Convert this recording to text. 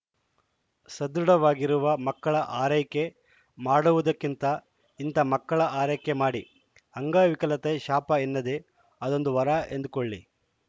ಸದೃಢವಾಗಿರುವ ಮಕ್ಕಳ ಆರೈಕೆ ಮಾಡುವುದಕ್ಕಿಂತ ಇಂಥ ಮಕ್ಕಳ ಆರೈಕೆ ಮಾಡಿ ಅಂಗವಿಕಲತೆ ಶಾಪ ಎನ್ನದೇ ಅದೊಂದು ವರ ಎಂದು ಕೊಳ್ಳಿ